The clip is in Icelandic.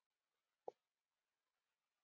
Ertu sammála þessum orðum Össurar?